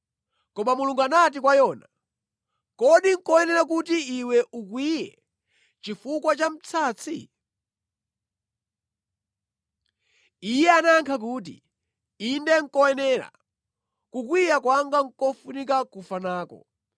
Koma Mulungu anati kwa Yona, “Kodi nʼkoyenera kuti iwe ukwiye chifukwa cha msatsi?” Iye anayankha kuti, “Inde nʼkoyenera. Kukwiya kwanga nʼkofuna kufa nako.”